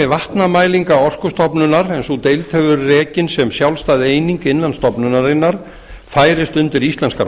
vatnamælinga orkustofnunar en sú deild hefur verið rekin sem sjálfstæð eining innan stofnunarinnar færist undir íslenskar